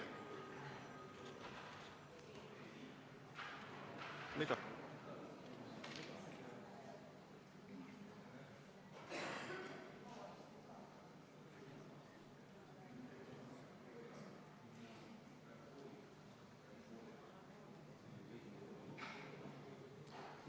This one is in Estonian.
Mida?